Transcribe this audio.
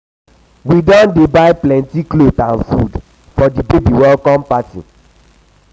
we dey happy sey our mama and our baby dey strong.